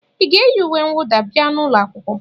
Ị ga-eyi uwe mwụda bia n'ụlọ akwụkwọ?